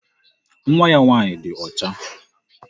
Nwa ya nwaanyị di ọcha.